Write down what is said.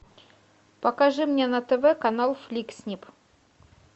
покажи мне на тв канал флик снип